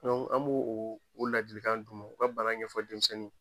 An b'o o ladilikan d'u ma, u ka bana ɲɛfɔ denmisɛnnun ye.